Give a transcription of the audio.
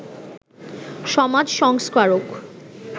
সমাজ সংস্কারক